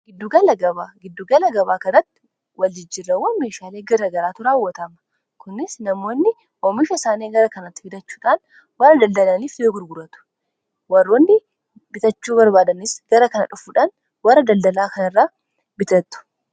Gidduugala gabaa kanatti waljijjirrawwan meeshaalee garagaraa tu raawwatama kunis namoonni oomisha isaanii gara kanatti fitachuudhaan warra daldalaniif lee gurguratu warroonni bitachuu barbaadanis gara kana dhufuudhaan warra daldalaa kana irraa bitatu.